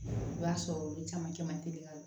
I b'a sɔrɔ olu caman caman te ka don